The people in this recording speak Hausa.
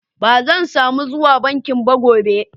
Ban zan samu zuwa bankin ba gobe.